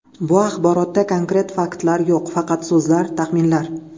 Bu axborotda konkret faktlar yo‘q, faqat so‘zlar, taxminlar.